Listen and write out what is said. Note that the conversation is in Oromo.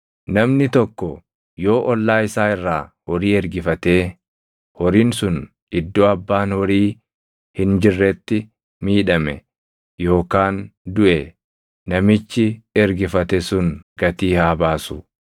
“Namni tokko yoo ollaa isaa irraa horii ergifatee horiin sun iddoo abbaan horii hin jirretti miidhame yookaan duʼe, namichi ergifate sun gatii haa baasu.